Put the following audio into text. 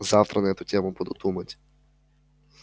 завтра на эту тему буду думать